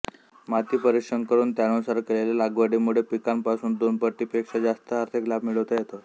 माती परीक्षण करून त्यानुसार केलेल्या लागवडीमुळे पिकांपासून दोनपटीपेक्षा जास्त आर्थिक लाभ मिळवता येतो